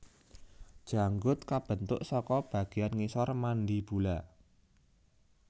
Janggut kabentuk saka bagéan ngisor mandibula